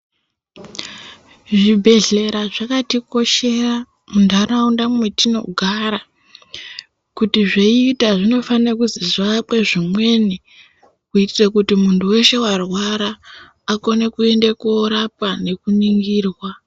Zvibhedhlera zvakatikoshera muntharaunda mwetinogara. Kuti zveiita zvinofane kuti zviakwe zvimweni, kuitira kuti munthu weshe warwara akone kuende koorapwa nekuningirwa.